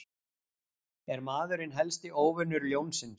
Er maðurinn helsti óvinur ljónsins?